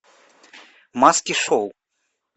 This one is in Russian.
маски шоу